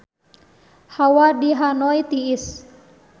Hawa di Hanoi tiris